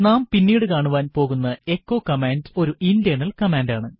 നാം പിന്നീട് കാണുവാൻ പോകുന്ന എച്ചോ കമാൻഡ് ഒരു ഇന്റേർണൽ കമാൻഡ് ആണ്